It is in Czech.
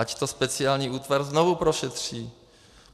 Ať to speciální útvar znovu prošetří.